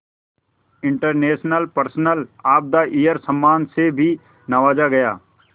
international person of the year सम्मान से भी नवाजा गया